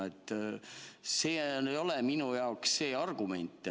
See ei ole minu jaoks argument.